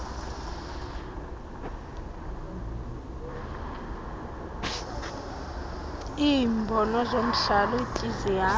lweembono zomhlalutyi zihamba